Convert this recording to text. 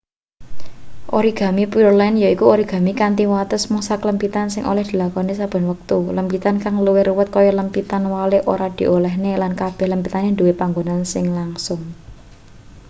origami pureland yaiku origami kanthi wates mung saklempitan sing oleh dilakoni saben wektu lempitan kang luwih ruwet kaya lempitan walik ora diolehne lan kabeh lempitan duwe panggonan sing langsung